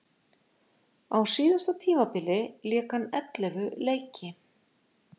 Á síðasta tímabili lék hann ellefu leiki.